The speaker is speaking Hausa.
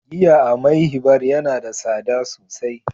giya a "Mayhi bar" Yana da sada sosai.